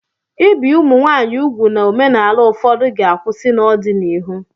Ibi ụmụ nwanyị úgwù na omenala ụfọdụ ga-akwụsị n'ọdịnihu.